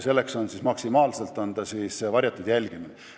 Maksimaalselt on tegu varjatud jälgimisega.